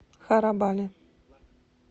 харабали